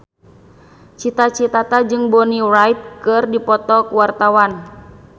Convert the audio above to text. Cita Citata jeung Bonnie Wright keur dipoto ku wartawan